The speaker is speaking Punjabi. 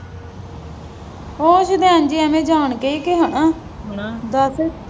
ਉਹ ਸ਼ੁਦੈਨ ਜਿਹੀ ਐਵੇਂ ਜਾਣ ਕੇ ਹੀ ਕਿਹਾ ਹਣਆ ਦੱਸ